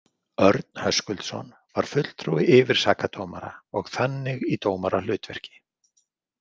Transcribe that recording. Örn Höskuldsson var fulltrúi yfirsakadómara og þannig í dómarahlutverki.